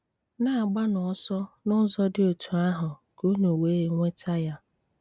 Na-agbanụ ọsọ n'ụzọ dị otú ahụ ka unu wee nweta ya.